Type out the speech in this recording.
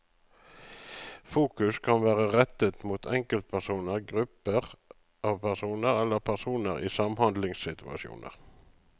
Fokus kan være rettet mot enkeltpersoner, grupper av personer eller personer i samhandlingssituasjoner.